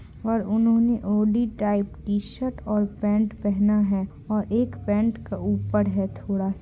और उन्होंने hoodie type T-shirt और पेंट पेहना है और एक पेंट का ऊपर है थोड़ा--